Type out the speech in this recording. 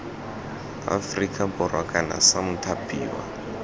aferika borwa kana c mothapiwa